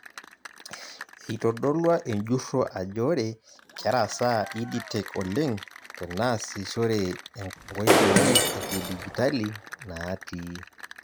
Eitodolua enjurro ajo ore kerasaa ED tech oleng' teneasishore nkoitoi ekidijtali naati.